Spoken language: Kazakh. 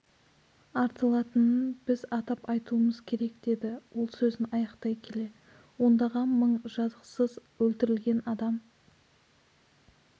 артылатынын біз атап айтуымыз керек деді ол сөзін аяқтай келе ондаған мың жазықсыз өлтірілген адам